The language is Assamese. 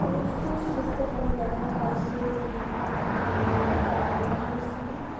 এইখন দৃশ্যত আমি দেখা পাইছোঁ যে এইখন ধুনীয়া এটা পৰ্লাৰ ৰ নিচিনা।